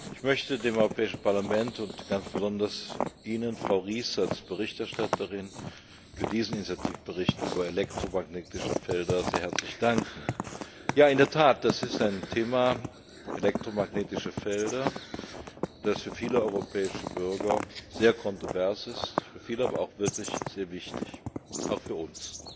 Ich möchte dem Europäischen Parlament und ganz besonders Ihnen, Frau Ries, als Berichterstatterin für diesen Initiativbericht über elektromagnetische Felder sehr herzlich danken. In der Tat ist das ein Thema elektromagnetische Felder das für viele europäische Bürger sehr kontrovers ist, für viele aber auch wirklich sehr wichtig, auch für uns.